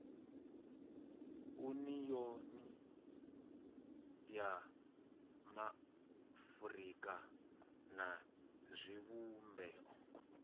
uniyoni ya maafurika na zwivhumbeo